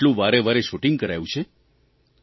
શું એટલું વારેવારે શૂટીંગ કરાયું છે